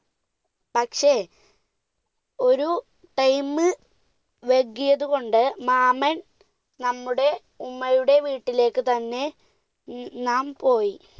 പക്ഷെ ഒരു time മ് വൈകിയത് കൊണ്ട് മാമൻ നമ്മുടെ ഉമ്മയുടെ വീട്ടിലേക്കു തന്നെ നാം പോയി.